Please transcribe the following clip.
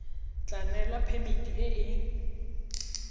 tla newa phemiti e e